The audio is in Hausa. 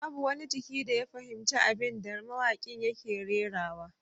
Babu wani jiki da ya fahimci abin da mawakin yake rerawa